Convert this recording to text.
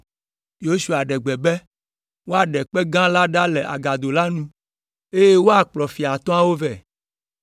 Yosua ɖe gbe be woaɖe kpe gã la ɖa le agado la nu, eye woakplɔ fia atɔ̃awo vɛ.